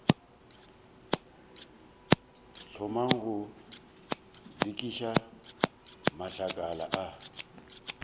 thomang go lokiša matlakala a